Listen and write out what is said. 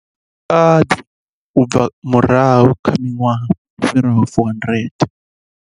Khosikadzi u bva murahu kha miṅwaha i fhiraho 400.